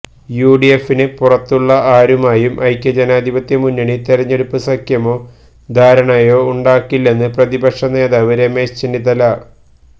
യുഡിഎഫിന് പുറത്തുള്ള ആരുമായും ഐക്യജനാധിപത്യമുന്നണി തെരഞ്ഞെടുപ്പ് സഖ്യമോ ധാരണയോ ഉണ്ടാക്കില്ലെന്ന് പ്രതിപക്ഷ നേതാവ് രമേശ് ചെന്നിത്തല